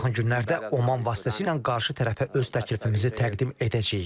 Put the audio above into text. Biz yaxın günlərdə Oman vasitəsilə qarşı tərəfə öz təklifimizi təqdim edəcəyik.